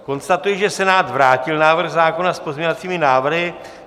Konstatuji, že Senát vrátil návrh zákona s pozměňovacími návrhy.